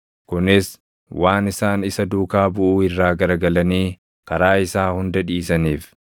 kunis waan isaan isa duukaa buʼuu irraa garagalanii karaa isaa hunda dhiisaniif.